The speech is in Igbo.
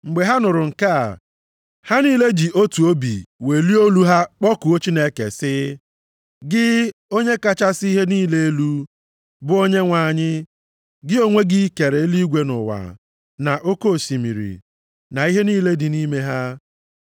Mgbe ha nụrụ nke a, ha niile ji otu obi welie olu ha kpọkuo Chineke, sị, “Gị, Onye kachasị ihe niile elu, bụ Onyenwe anyị, gị onwe gị kere eluigwe na ụwa, na oke osimiri, na ihe niile dị nʼime ha.